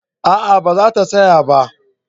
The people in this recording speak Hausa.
A'a ba za ta saya ba